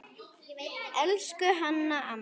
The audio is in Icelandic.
Elsku Hanna amma.